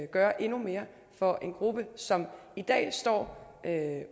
gøre endnu mere for en gruppe som i dag står